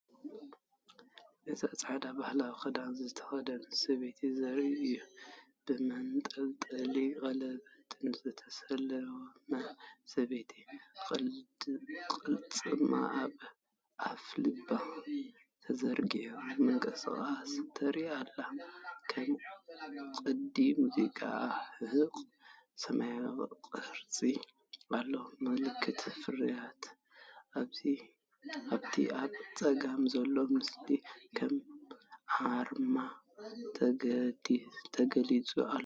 እዚ ጻዕዳ ባህላዊ ክዳን ዝተኸድነት ሰበይቲ ዘርኢ እዩ። ብመንጠልጠልን ቀለቤትን ዝተሰለመ ሰበይቲ፡ ቅልጽማ ኣብ ኣፍልባ ተዘርጊሑ ምንቅስቓስ ተርኢ ኣላ፡ ከም ቅዲ ሙዚቃ። ኣብ ሕቖኣ ሰማያዊ ቅርጺ ኣሎ። ምልክት ፍርያት ኣብቲ ኣብ ጸጋም ዘሎ ምስሊ ከም ኣርማ ተገሊጹ ኣሎ።